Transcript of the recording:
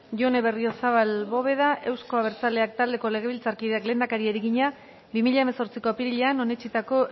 jone berriozabal bóveda euzko abertzaleak taldeko legebiltzarkideak lehendakariari egina bi mila hemezortziko apirilean onetsitako